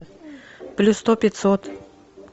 плюс сто пятьсот